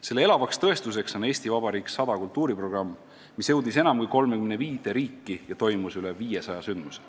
Selle elavaks tõestuseks on "Eesti Vabariik 100" kultuuriprogramm, mis jõudis enam kui 35 riiki ja mille raames korraldati üle 500 ürituse.